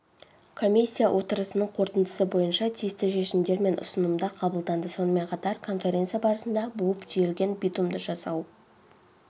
комиссия отырысының қорытындысы бойынша тиісті шешімдер мен ұсынымдар қабылданды сонымен қатар конференция барысында буып-түйілген битумды жасау